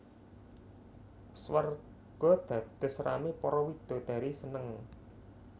Swarga dados ramé para widodari seneng